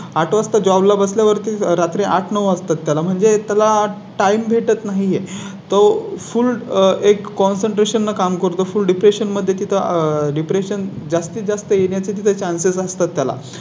आठ वाजता Job ला बसल्या वरती रात्री आठ वाजता त्याला म्हणजे त्याला Time भेटत नाही ये तो Full एक Concentration काम करतो. फू Depression मध्ये तिथं Depression जास्तीत जास्त येण्या चे Chances असतात त्याला